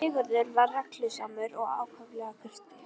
Sigurður var reglusamur og ákaflega kurteis.